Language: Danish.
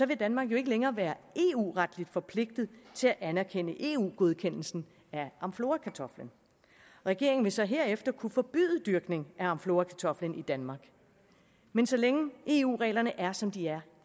vil danmark jo ikke længere være eu retligt forpligtet til at anerkende eu godkendelsen af amflorakartoflen regeringen vil så herefter kunne forbyde dyrkning af amflorakartoflen i danmark men så længe eu reglerne er som de er